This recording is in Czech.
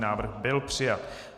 Návrh byl přijat.